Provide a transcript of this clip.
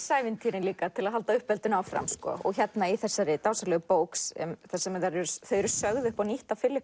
ævintýrin til að halda uppeldinu áfram þessari dásamlegu bók þar sem þau eru sögð upp á nýtt af